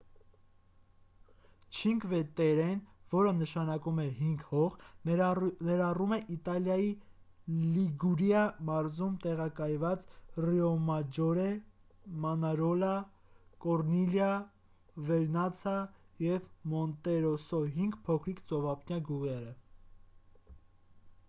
չինկվե-տերրեն որը նշանակում է հինգ հող ներառում է իտալիայի լիգուրիա մարզում տեղակայված ռիոմաջորե մանարոլա կորնիլիա վերնացա և մոնտերոսո հինգ փոքրիկ ծովափնյա գյուղերը